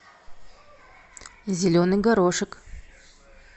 зеленый горошек